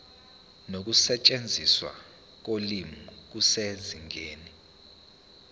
nokusetshenziswa kolimi kusezingeni